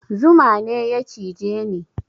Zuma ne ya cije ni